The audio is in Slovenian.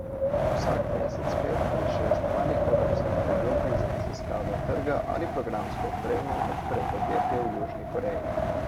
Vsak mesec pet ali šest malih evropskih podjetij za raziskavo trga ali programsko opremo odpre podjetje v Južni Koreji.